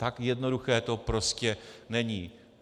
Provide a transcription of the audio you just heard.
Tak jednoduché to prostě není.